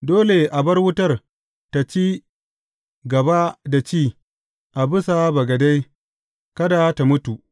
Dole a bar wutar tă ci gaba da ci a bisa bagade; kada tă mutu.